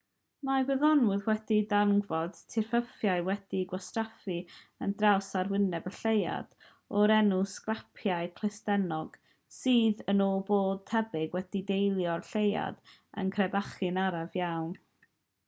mae gwyddonwyr wedi darganfod tirffurfiau wedi'u gwasgaru ar draws arwyneb y lleuad o'r enw sgarpiau clustennog sydd yn ôl pob tebyg wedi deillio o'r lleuad yn crebachu'n araf iawn